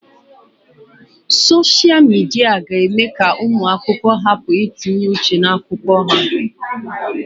Soshia Midia ga-eme ka ụmụ akwụkwọ hapụ itinye uche n'akwụkwọ ha.